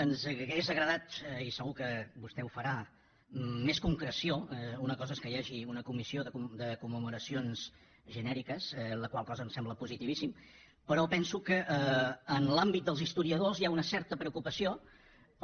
ens hauria agradat i segur que vostè ho farà més concreció una cosa és que hi hagi una comissió de commemoracions genèriques la qual cosa em sembla positivíssima però penso que en l’àmbit dels historiadors hi ha una certa preocupació per